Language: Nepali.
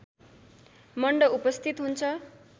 मण्ड उपस्थित हुन्छ